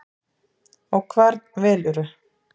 Og hvern velurðu?